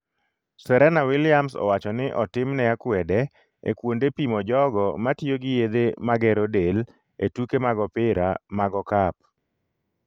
Serena Williams owacho ni 'otimne akwede' e kwonde pimo jogo matiyo gi yethe magero del e tuke mag opira mag okap